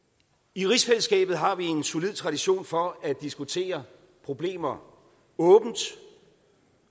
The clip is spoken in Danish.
i rigsfællesskabet har vi en solid tradition for at diskutere problemer åbent